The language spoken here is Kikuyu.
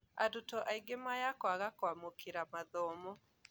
Arutwo aingĩ maya kwaga kwamũkĩra mathomo